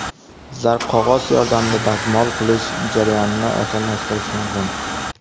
Zarqog‘oz yordamida dazmol qilish jarayonini osonlashtirish mumkin .